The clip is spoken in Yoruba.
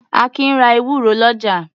Akin ra ewúro lọ́jà.